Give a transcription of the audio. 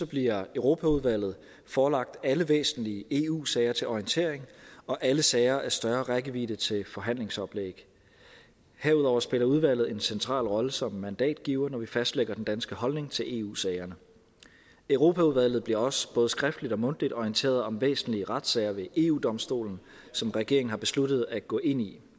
bliver europaudvalget forelagt alle væsentlige eu sager til orientering og alle sager af større rækkevidde til forhandlingsoplæg herudover spiller udvalget en central rolle som mandatgiver når vi fastlægger den danske holdning til eu sagerne europaudvalget bliver også både skriftligt og mundtligt orienteret om væsentlige retssager ved eu domstolen som regeringen har besluttet at gå ind i